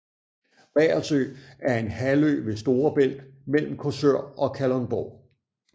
Reersø er en halvø ved Storebælt mellem Korsør og Kalundborg